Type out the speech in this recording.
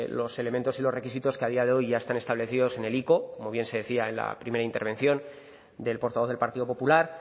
los elementos y los requisitos que a día de hoy ya están establecidos en el ico como bien se decía en la primera intervención del portavoz del partido popular